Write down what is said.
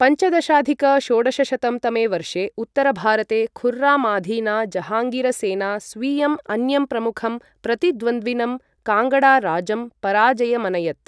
पञ्चदशाधिक षोडशशतं तमे वर्षे उत्तरभारते खुर्रामाधीना जहाङ्गीरसेना स्वीयम् अन्यं प्रमुखं प्रतिद्वन्द्विनं काङ्गड़ाराजं पराजयमनयत्।